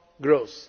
growth